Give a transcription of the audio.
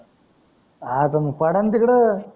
हा त मंग पडा न तिकड